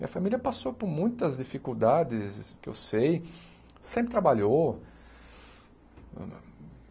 Minha família passou por muitas dificuldades, que eu sei, sempre trabalhou.